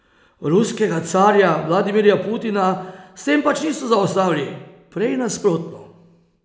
Ruskega carja Vladimirja Putina s tem pač niso zaustavili, prej nasprotno.